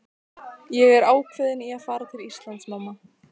Ég er ákveðinn í að fara til Íslands, mamma.